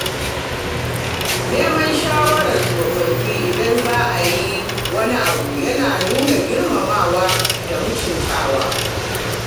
Neman shawarar tsofaffi idan za a yi wani abu yana nuna girmamawa da mutuntaka.